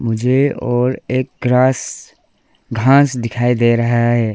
मुझे और एक ग्रास घास दिखाई दे रहा है।